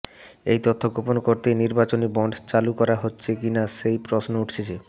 এই তথ্য গোপন করতেই নির্বাচনী বন্ড চালু করা হচ্ছে কিনা সেই প্রশ্ন উঠছে